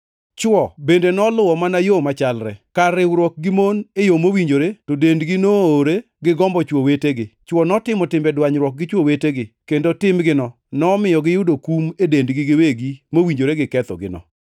Chwo bende noluwo mana yo machalre; kar riwruok gi mon e yo mowinjore, to dendgi noowore gi gombo chwo wetegi. Chwo notimo timbe dwanyruok gi chwo wetegi, kendo timgino nomiyo giyudo kum e dendgi giwegi mowinjore gi kethogino.